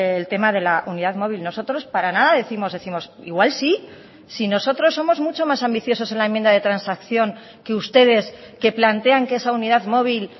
el tema de la unidad móvil nosotros para nada décimos décimos igual sí si nosotros somos mucho más ambiciosos en la enmienda de transacción que ustedes que plantean que esa unidad móvil